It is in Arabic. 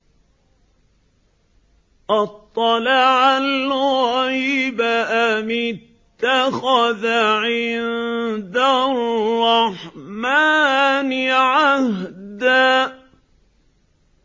أَطَّلَعَ الْغَيْبَ أَمِ اتَّخَذَ عِندَ الرَّحْمَٰنِ عَهْدًا